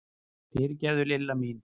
Fyrirgefðu, Lilla mín!